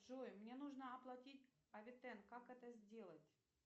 джой мне нужно оплатить авитен как это сделать